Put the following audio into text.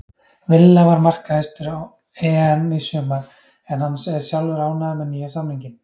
Villa var markahæstur á EM í sumar en hann er sjálfur ánægður með nýja samninginn.